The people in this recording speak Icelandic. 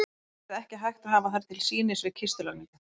Það yrði ekki hægt að hafa þær til sýnis við kistulagningu.